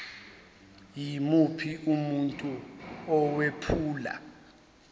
yimuphi umuntu owephula